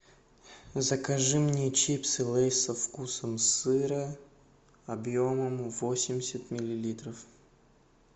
закажи мне чипсы лейс со вкусом сыра объемом восемьдесят миллилитров